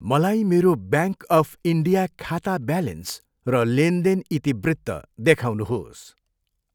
मलाई मेरो bank of India खाता ब्यालेन्स र लेनदेन इतिवृत्त देखाउनुहोस्।